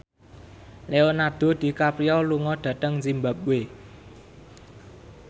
Leonardo DiCaprio lunga dhateng zimbabwe